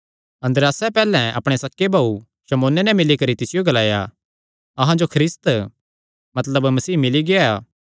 अन्द्रियासैं पैहल्लैं अपणे सक्के भाऊ शमौने नैं मिल्ली करी तिसियो ग्लाया अहां जो ख्रिस्त मतलब मसीह मिल्ली गेआ